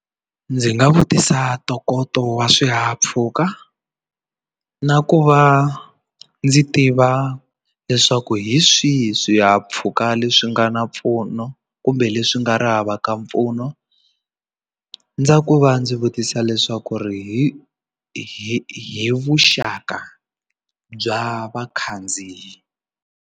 Ndzi nga vutisa ntokoto wa swihahampfhuka na ku va ndzi tiva leswaku hi swihi swihahampfhuka leswi nga na mpfuno kumbe leswi nga ri havaka mpfuno ndza ku va ndzi vutisa leswaku ri hi vuxaka bya vakhandziyi.